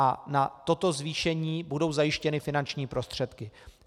A na toto zvýšení budou zajištěny finanční prostředky.